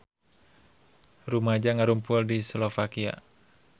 Rumaja ngarumpul di Slovakia